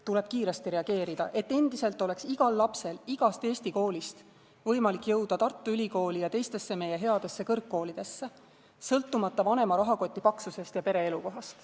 Tuleb kiiresti reageerida, et endiselt oleks igal lapsel igast Eesti koolist võimalik jõuda Tartu Ülikooli ja teistesse meie headesse kõrgkoolidesse, sõltumata vanema rahakoti paksusest ja pere elukohast.